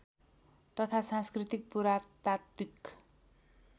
तथा सांस्कृतिक पुरातात्विक